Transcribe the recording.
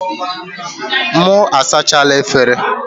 M sachala efere.